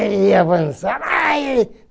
Ele ia avançar. Aí!